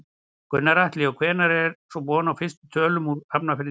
Gunnar Atli: Og hvenær er svo von á fyrstu tölum úr Hafnarfirði í kvöld?